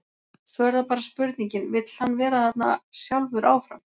Svo er það bara spurningin, vill hann vera þarna sjálfur áfram?